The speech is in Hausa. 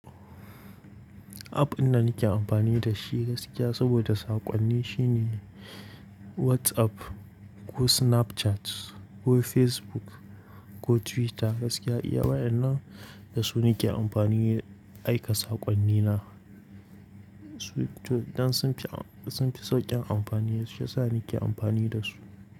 App din da nike amfani da shi gaskiya saboda sakoni shi ne WhatsApp ko Snapchat ko Facebook ko Twitter gaskiya iya wayanan da su nike amfani aika sakoni na dan sun fi sun fi sauƙin amfani, shi ya sa nake amfani da su.